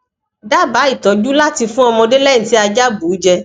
daba itọju lati fun ọmọde lẹhin ti aja bu jẹ